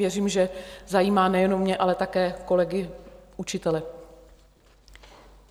Věřím, že zajímá nejenom mě, ale také kolegy učitele.